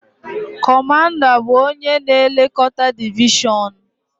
Kọmanda bụ onye na-elekọta divishọn